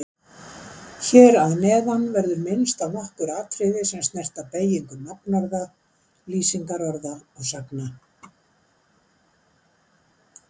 Hér að neðan verður minnst á nokkur atriði er snerta beygingu nafnorða, lýsingarorða og sagna.